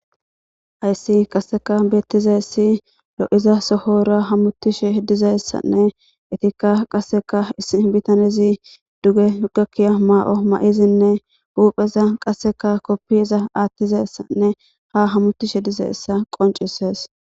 Hayisi qase betizayisi loiza sohora hamutishe dizayisanne eyitikka qasekka issi bitanezi duge gakiya mayo mayidinne hupeza qasekka kopoyaza aththizayisanne hamutishe dizayisa qoncisesi